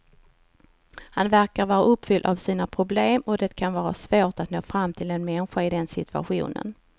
Han verkar vara uppfylld av sina problem och det kan vara svårt att nå fram till en människa i den situationen.